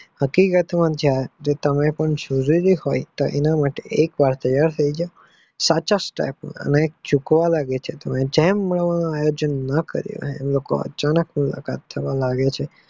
હકીકત માં પણ જયારે તમારી પણ જરૂર હોય તેની માટે એક વાર તૈયાર થઇ જાવ સાચા step માં અનેક સુકાવવા લાગે છે જેનું આયોજન ના કરીયુ હોય તાણી મુલાકાત થવા લાગે છે.